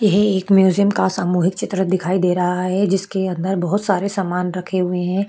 यही एक म्यूजियम का सामूहिक चित्र दिखाई दे रहा है जिसके अंदर बहुत सारे सामान रखे हुए हैं।